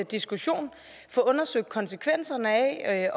diskussion få undersøgt konsekvenserne af